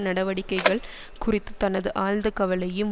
நடவடிக்கைகள் குறித்து தனது ஆழ்ந்த கவலையும்